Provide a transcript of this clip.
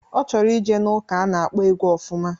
Ọ chọrọ ije n'ụka a na-akpọ egwu ofụma.